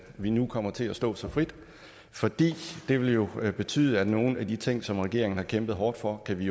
vi nu kommer til at stå så frit for det vil jo betyde at nogle af de ting som regeringen har kæmpet hårdt for kan vi